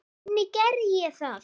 Hvernig gerði ég það?